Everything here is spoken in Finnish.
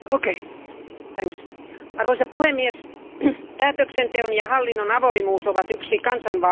Arvoisa puhemies, päätöksenteon ja hallinnon avoimuus ovat yksi kansanvallan perusedellytyksiä.